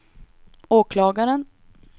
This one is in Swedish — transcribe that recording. åklagaren